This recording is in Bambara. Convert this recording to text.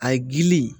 A ye gili